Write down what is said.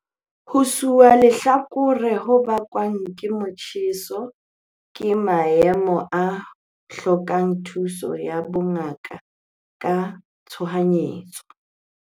Ho shwa lehlakore ho bakwang ke motjheso ke maemo a hlokang thuso ya bongaka ka tshohanyetso.